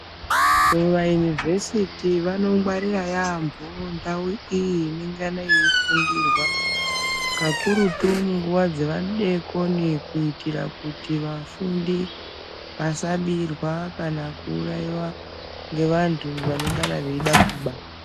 Kuma univhesiti vanongwarira ndau iyi inongana yei fundirwa kakurutu munguwa Dzemadekoni kuitira kuti vafundi vasabirwa kana kuraiwa ngevantu vanongana veida kuba.